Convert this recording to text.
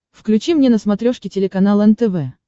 включи мне на смотрешке телеканал нтв